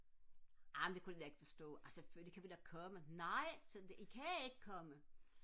amen det kunne de da ikke forstå ah selvfølgelig kan vi da komme nej I kan ikke komme